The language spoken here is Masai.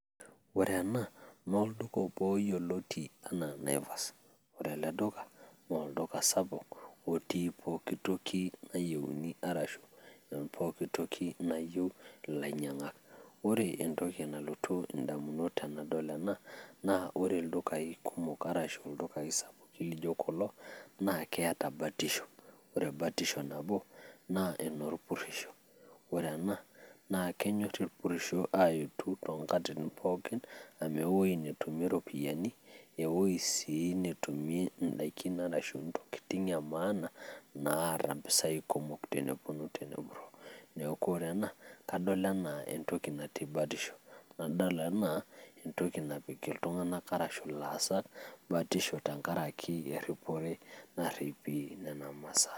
Ore ena, nolduka obo yioloti enaa naivas. Ore ele duka, na olduka sapuk otii pooki toki nayieuni arashu pooki toki nayieu ilainyang'ak. Ore entoki nalotu indamunot tenadol ena, na ore ildukai kumok arashu ildukai sapukin lijo kulo, na keeta batisho. Ore batisho nabo, na enoorpurrisho. Ore ena, na kenyor irpurrisho aetu tonkatitin pookin, amu ewuei netumie ropiyaiani, ewuei si netumie idaiki arashu ntokitin emaana, naata impisai kumok, teneponu tenepurroo. Neeku ore ena, kadol enaa entoki natii batisho. Nadol enaa, entoki napik iltung'anak arashu ilaasak batisho, tenkaraki erripore narripi nena masaa.